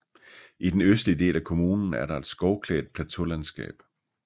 I den østlige del af kommunen er der et skovklædt plateaulandskab